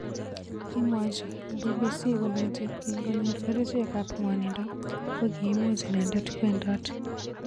Kimwochi BBC kolenji kingoyor kerichek ab ngwanindo kokimuch inendet kwendot.